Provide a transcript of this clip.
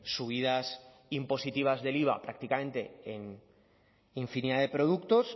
subidas impositivas del iva prácticamente en infinidad de productos